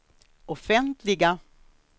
offentliga